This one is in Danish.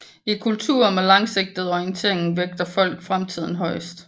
I kulturer med langsigtet orientering vægter folk fremtiden højest